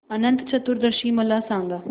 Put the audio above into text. अनंत चतुर्दशी मला सांगा